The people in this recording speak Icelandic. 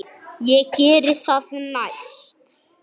Ég geri það næst.